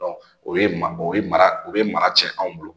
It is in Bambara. o ye ma o ye mara o ye mara cɛn an bolo